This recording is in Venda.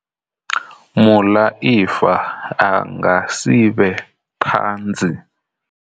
Muḽaifa a nga si vhe ṱhanzi.